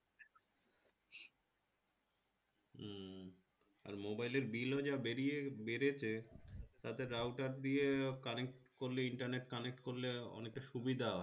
আর mobile এর bill ও যা বেরিয়ে বেড়েছে তাতে router দিয়ে connect করলে internet connect করলে অনেকটা সুবিধা হয়